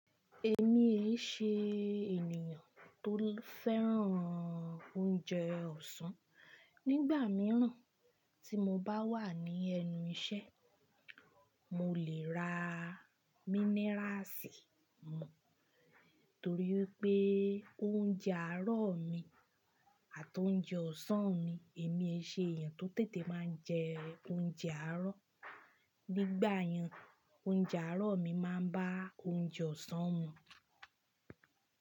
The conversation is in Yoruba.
Èmi èí ṣe ènìyàn tó fẹ́ràn oúnjẹ ọ̀sán. Nígbà mìíràn tí mo bá wà ní ẹnu iṣẹ́, mo lè ra mínéràsì mu torí pé oúnjẹ àárọ̀ mi àti oúnjẹ ọ̀sán mi. Èmi ẹ ṣe èèyàn tó tètè máa ń jẹ oúnjẹ àárọ̀. Nígbà mìíràn oúnjẹ àárọ̀ mi máa ń ba oúnjẹ ọ̀sán mu.